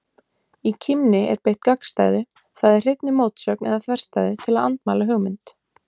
Í kímni er beitt gagnstæðu, það er hreinni mótsögn eða þverstæðu, til að andmæla hugmynd.